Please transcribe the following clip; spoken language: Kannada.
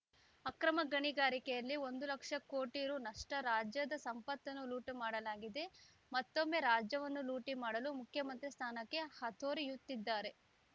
ಅಕ್ರಮ ಗಣಿಗಾರಿಕೆಯಲ್ಲಿ ಒಂದು ಲಕ್ಷ ಕೋಟಿ ರುನಷ್ಟುರಾಜ್ಯದ ಸಂಪತ್ತನ್ನು ಲೂಟಿ ಮಾಡಲಾಗಿದೆ ಮತ್ತೊಮ್ಮೆ ರಾಜವನ್ನು ಲೂಟಿ ಮಾಡಲು ಮುಖ್ಯಮಂತ್ರಿ ಸ್ಥಾನಕ್ಕಾಗಿ ಹಾತೊರೆಯುತ್ತಿದ್ದಾರೆ